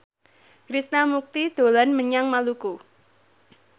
Krishna Mukti dolan menyang Maluku